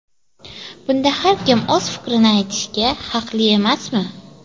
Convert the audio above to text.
Bunda har kim o‘z fikrini aytishga haqli emasmi?